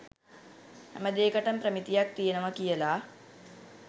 හැමදේකටම ප්‍රමිතියක් තියෙනවා කියලා.